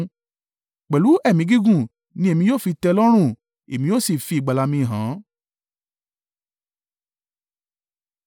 Pẹ̀lú ẹ̀mí gígùn ni èmi yóò fi tẹ́ ẹ lọ́rùn, èmi yóò sì fi ìgbàlà mi hàn án.”